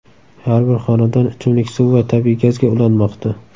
Har bir xonadon ichimlik suvi va tabiiy gazga ulanmoqda.